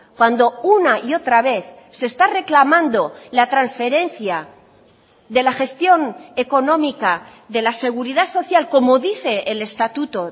cuando una y otra vez se está reclamando la transferencia de la gestión económica de la seguridad social como dice el estatuto